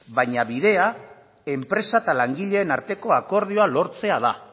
baina bidea enpresa eta langileen arteko akordioa lortzea da